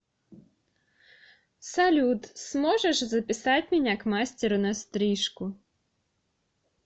салют сможешь записать меня к мастеру на стрижку